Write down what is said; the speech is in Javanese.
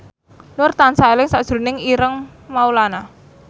Nur tansah eling sakjroning Ireng Maulana